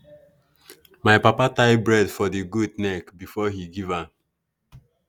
my papa tie bead for the goat neck before he give am.